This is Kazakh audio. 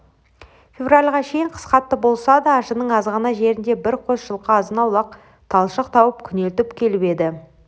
февральға шейін қыс қатты болса да ажының азғана жерінде бір қос жылқы азын-аулақ талшық тауып күнелтіп келіп еді